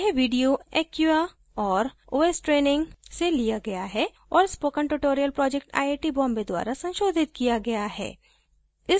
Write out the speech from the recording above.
यह video acquia और os training से लिया गया है और spoken tutorial project IIT Bombay द्वारा संशोधित किया गया है